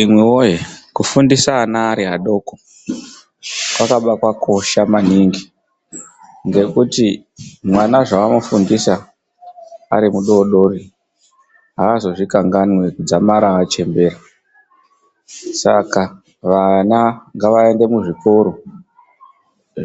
Imwi woye kufundisa ana ari adoko, kwakaba kwakosha maningi. Ngekuti mwana zvawamufundisa ari mudoodori aazozvikanganwi kudzamara achembera. Saka vana ngavaende muzvikora